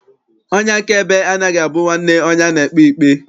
Onye akaebe anaghị abụ nwanne onye a na-ekpe ikpe.